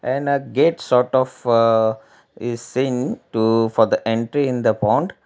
an a gate sort of is seen to for the entry in the pond.